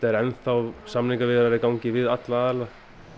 eru enn samningaviðræður í gangi við alla aðila